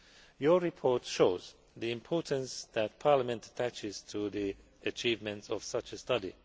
Your report shows the importance that Parliament attaches to the achievements of such a study.